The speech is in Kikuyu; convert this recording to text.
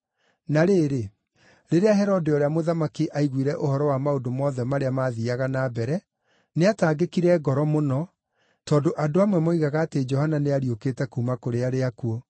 Na rĩrĩ, rĩrĩa Herode ũrĩa mũthamaki aiguire ũhoro wa maũndũ mothe marĩa maathiiaga na mbere, nĩataangĩkire ngoro mũno tondũ andũ amwe moigaga atĩ Johana nĩariũkĩte kuuma kũrĩ arĩa akuũ,